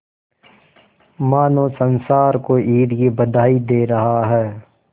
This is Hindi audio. मानो संसार को ईद की बधाई दे रहा है